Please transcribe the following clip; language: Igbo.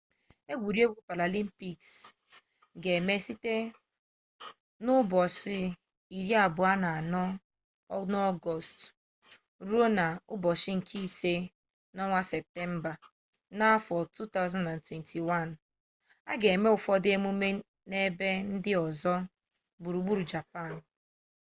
engwuregwu paralimpiks ga-eme site n'ọgọọst 24 ruo na septemba 5 2021 a ga-eme ụfọdụ emume n'ebe ndị ọzọ gburugburu japan